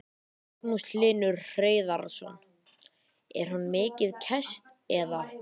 Magnús Hlynur Hreiðarsson: Er hún mikið kæst eða?